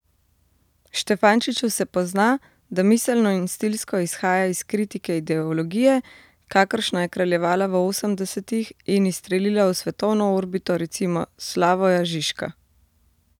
Štefančiču se pozna, da miselno in stilsko izhaja iz kritike ideologije, kakršna je kraljevala v osemdesetih in izstrelila v svetovno orbito recimo Slavoja Žižka.